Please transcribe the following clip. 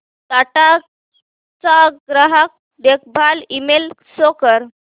टाटा चा ग्राहक देखभाल ईमेल शो कर